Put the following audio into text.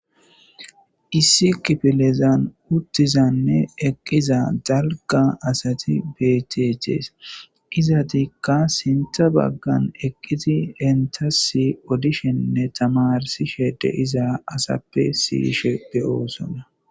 Issi kifilezan uttizanne eqqiza dalga asati betechees izatikka sintha baggan eqqiti entasi odishenne tamarsi shede iza asappe siishepbeyoosona.